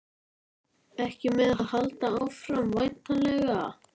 Ekki með að halda áfram, væntanlega?